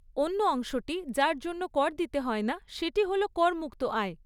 অন্য অংশটি, যার জন্য কর দিতে হয় না সেটি হল করমুক্ত আয়।